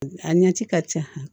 A ɲɛci ka ca